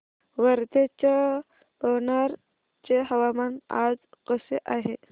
वर्ध्याच्या पवनार चे हवामान आज कसे आहे